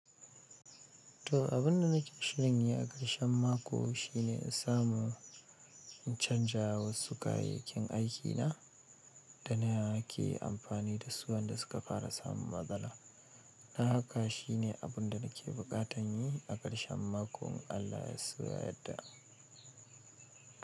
To abun da nake shiri a karshen mako, shi ne in samo in chanza wansu kayayaken aikin na da nake amfani da su wanda su ka dara samo barbada don haka shi ne abun da nake bukatan yi a karshen makon Allah ya so ya yadda.